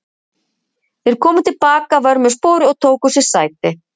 Þeir komu til baka að vörmu spori og tóku sér sæti.